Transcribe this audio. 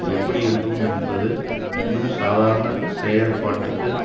எப்படி இருக்கும் என்பது இன்னும் சாதாரண செயற்பாட்டுக்கு